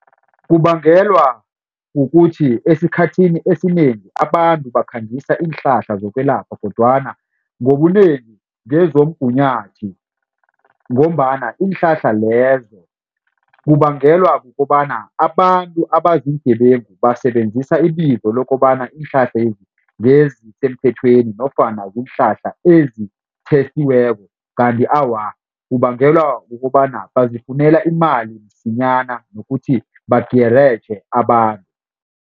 Kubangelwa kukuthi esikhathini esinengi abantu bakhangisa iinhlahla zokwelapha kodwana ngobunengi ngezomgunyathi. Ngombana iinhlahla lezo kubangelwa kukobana abantu abazi iingebengu basebenzisa ibizo lokobana iinhlahlezi ngezisemthethweni nofana ziinhlahla esikhethiweko kanti awa kubangelwa kukobana bazifunele imali msinyana nokuthi bagereje abantu.